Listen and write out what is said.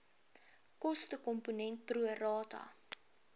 kostekomponent pro rata